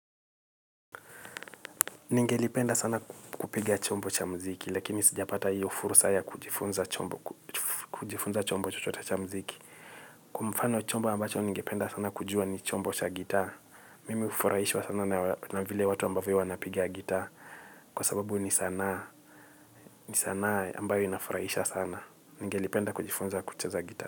Ningelipenda sana kupiga chombo cha muziki lakini sijapata hiyo fursa ya kujifunza chombo chochote cha muziki. Kwa mfano chombo ambacho ningependa sana kujua ni chombo cha gitaa. Mimi hufurahishwa sana na vile watu ambavyo wanapiga gitaa. Kwa sababu ni sanaa ambayo inafurahisha sana. Ningelipenda kujifunza kucheza gitaa.